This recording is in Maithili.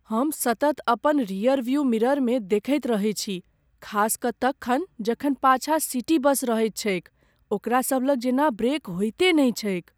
हम सतत अपन रियरव्यू मिररमे देखैत रहैत छी, खास कऽ तखन जखन पाछाँ सिटी बस रहैत छैक। ओकरा सबलग जेना ब्रेक होइते नहि छैक।